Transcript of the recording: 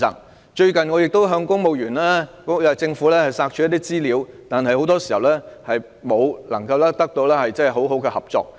我最近曾向政府索取資料，但很多時候卻得不到充分合作。